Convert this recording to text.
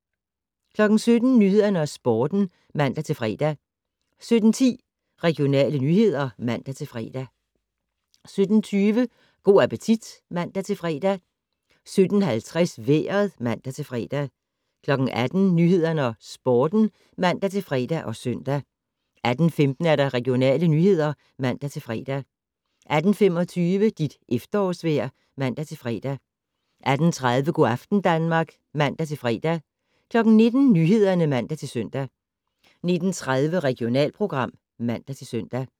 17:00: Nyhederne og Sporten (man-fre) 17:10: Regionale nyheder (man-fre) 17:20: Go' appetit (man-fre) 17:50: Vejret (man-fre) 18:00: Nyhederne og Sporten (man-fre og søn) 18:15: Regionale nyheder (man-fre) 18:25: Dit efterårsvejr (man-fre) 18:30: Go' aften Danmark (man-fre) 19:00: Nyhederne (man-søn) 19:30: Regionalprogram (man-søn)